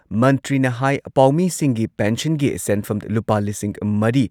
ꯃꯟꯇ꯭ꯔꯤꯅ ꯍꯥꯏ ꯄꯥꯎꯃꯤꯁꯤꯡꯒꯤ ꯄꯦꯟꯁꯤꯟꯒꯤ ꯁꯦꯟꯐꯝ ꯂꯨꯄꯥ ꯂꯤꯁꯤꯡ ꯃꯔꯤ